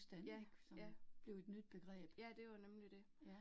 Ja, ja. Ja, det var jo nemlig det